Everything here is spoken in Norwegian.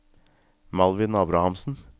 Malvin Abrahamsen